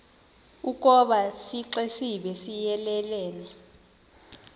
ukoba isixesibe siyelelene